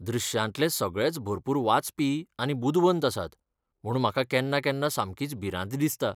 दृश्यांतले सगळेच भरपूर वाचपी आनी बुदवंत आसात, म्हूण म्हाका केन्ना केन्ना समकीच भिरांत दिसता.